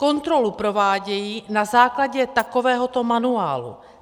Kontrolu provádějí na základě takovéhoto manuálu.